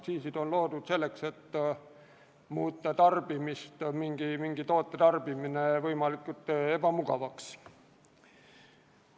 Aktsiisid on loodud selleks, et muuta mingi toote tarbimine võimalikult ebamugavaks.